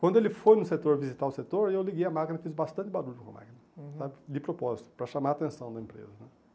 Quando ele foi no setor visitar o setor, eu liguei a máquina e fiz bastante barulho com a máquina, uhum, sabe?, de propósito, para chamar a atenção da empresa.